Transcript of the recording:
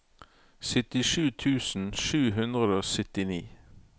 syttisju tusen sju hundre og syttini